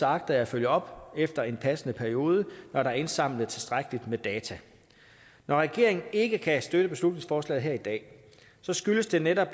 agter jeg følge op efter en passende periode når der er indsamlet tilstrækkeligt med data når regeringen ikke kan støtte beslutningsforslaget her i dag skyldes det netop